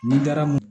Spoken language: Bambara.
Ni garamu